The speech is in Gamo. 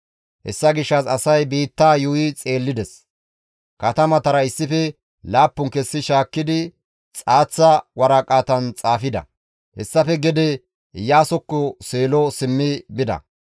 Hessa gishshas asay biittaa yuuyi xeellides; katamatara issife laappun kessi shaakkidi xaaththa waraqatan xaafida; hessafe gede Iyaasokko Seelo simmi bida.